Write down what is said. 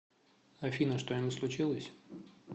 афина что нибудь случилось